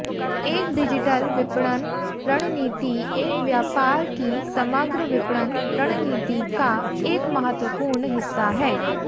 एक डिजिटल विपणन रणनीति एक व्यापार की समग्र विपणन रणनीति का एक महत्वपूर्ण हिस्सा है